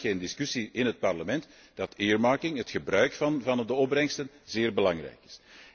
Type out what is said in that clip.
Er is geen discussie in het Parlement dat earmarking het gebruik van de opbrengsten zeer belangrijk is.